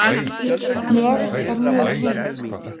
Ég er mjög rík